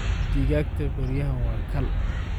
Digagta beriyahan waa kaal.